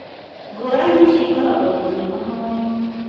ngũrani ici ikoragwo nginyagia mahoyainĩ